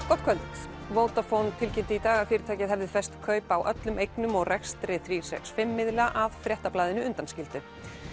gott kvöld Vodafone tilkynnti í dag að fyrirtækið hefði fest kaup á öllum eignum og rekstri þrjú fimm miðla að Fréttablaðinu undanskildu